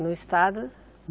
No estado?